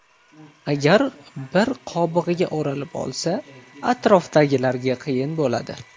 Agar bir qobig‘iga o‘ralib olsa, atrofdagilarga qiyin bo‘ladi.